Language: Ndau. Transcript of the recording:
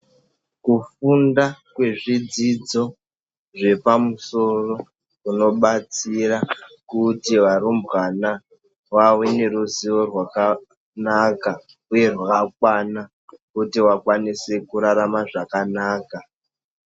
Kufunda kwezvidzidzo zvepamusoro kunobatsira kuti varumbwana vave neruzivo rwakanaka, uye rwakakwana kuti vakwanise kurarama zvakanaka.